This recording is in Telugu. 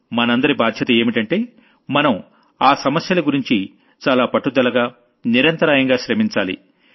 మనందరి బాధ్యత ఏంటంటే మనం ఆ సమస్యల గురించి చాలా పట్టుదలగా నిరంతరాయంగా శ్రమించాలి